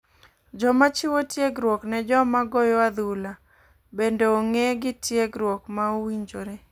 Joma chiwo tiegruok ne joma goyo adhula bende ong'e gi tiegruok ma owinjore .